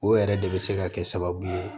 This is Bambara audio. O yɛrɛ de bɛ se ka kɛ sababu ye